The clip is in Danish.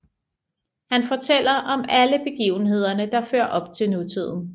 Han fortæller om alle begivenhederne der fører op til nutiden